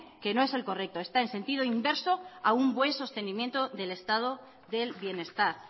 que no es el correcto está en sentido inverso a un buen sostenimiento del estado del bienestar